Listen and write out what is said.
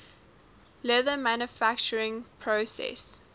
leather manufacturing process